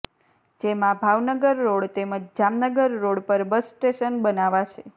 જેમાં ભાવનગર રોડ તેમજ જામનગર રોડ પર બસ સ્ટેશન બનાવાશે